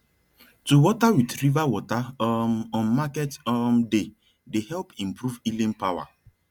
to water with river water um on market um day dey help improve healing power